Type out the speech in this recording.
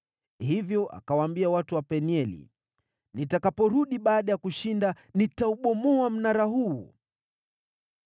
Hivyo akawaambia watu wa Penieli, “Nitakaporudi baada ya kushinda, nitaubomoa mnara huu.”